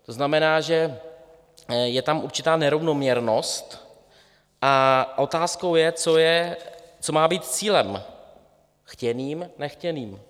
To znamená, že je tam určitá nerovnoměrnost, a otázkou je, co má být cílem chtěným, nechtěným.